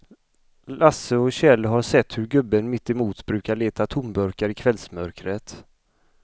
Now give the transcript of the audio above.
Lasse och Kjell har sett hur gubben mittemot brukar leta tomburkar i kvällsmörkret.